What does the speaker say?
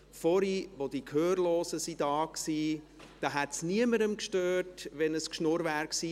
Vorhin, als die Gehörlosen da waren, hätte es niemanden gestört, wenn es ein Geschwätz gewesen wäre.